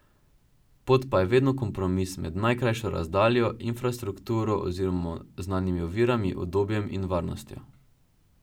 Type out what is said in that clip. Pot pa je vedno kompromis med najkrajšo razdaljo, infrastrukturo oziroma znanimi ovirami, udobjem in varnostjo.